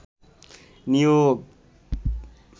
নিয়োগ